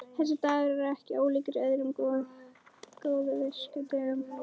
Þessi dagur er ekki ólíkur öðrum góðviðrisdögum.